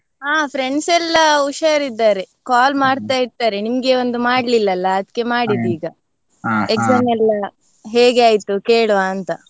ಅಹ್ friends ಎಲ್ಲಾ ಹುಷಾರ್ ಇದ್ದಾರೆ call ಮಾಡ್ತಾ ಇರ್ತಾರೆ, ನಿಮ್ಗೆ ಒಂದು ಮಾಡ್ಲಿಲ್ಲ ಅಲ್ಲ ಅದಕ್ಕೆ ಮಾಡಿದ್ದು ಈಗ, exam ಎಲ್ಲಾ ಹೇಗೆ ಆಯ್ತು ಕೇಳುವ ಅಂತ?